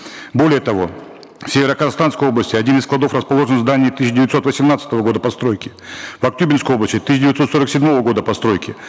более того в северо казахстанской области один из складов расположен в здании тысяча девятьсот восемнадцатого года постройки в актюбинской области тысяча девятьсот сорок седьмого года постройки